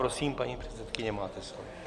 Prosím, paní předsedkyně, máte slovo.